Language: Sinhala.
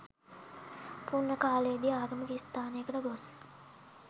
පුණ්‍ය කාලයේ දී ආගමික ස්ථානයකට ගොස්